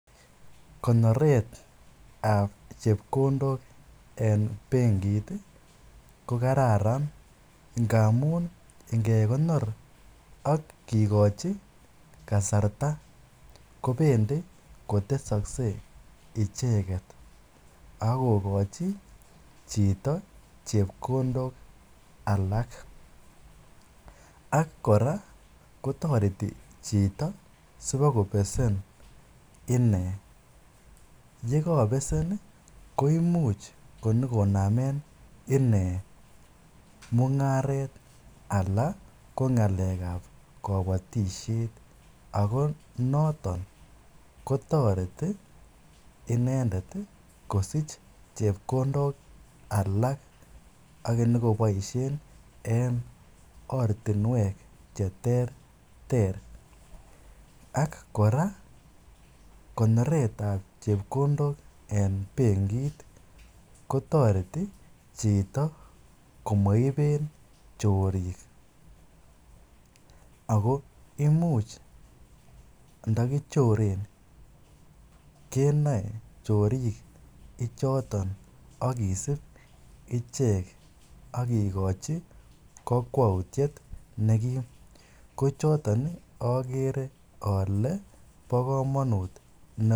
Konoretab chepkondok en benkit ko kararan ngamun ngekonor ak kikochi kasarta kobendi kotesokse ak kokochi chito chepkondok alak, ak kora kotoreti chito sipokobesen inee, yekobesen koimuch konyokonamen inee mungaret alaan ko ngaleab kobotishet ak ko noton kotoreti inendet kosich chepkondok alak ak konyokoboishen en ortinwek cheterter ak kora konoretab chepkondok en benkit kotoreti chito komoiben chorik ak ko imuch ndokichoren kenoe chorik ichoton ak kisib ichek ak kikochi kokwoutiet nekim, kochoton okeree olee bokomonut noton.